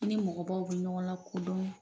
I ni mɔgɔbaw bɛ ɲɔgɔn lakodɔn